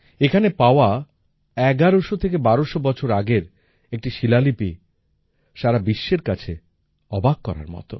এখানে পাওয়া ১১০০ থেকে ১২০০ বছর আগের একটি শিলালিপি সারা বিশ্বের কাছে অবাক করার মত